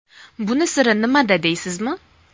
Buni siri nimada deysizmi?